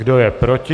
Kdo je proti?